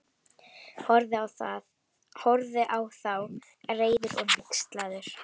Horfði á þá, reiður og hneykslaður.